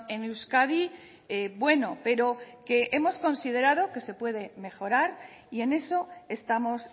en euskadi bueno pero que hemos considerado que se puede mejorar y en eso estamos